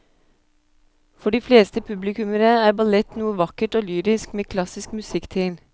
For de fleste publikummere er ballett noe vakkert og lyrisk med klassisk musikk til.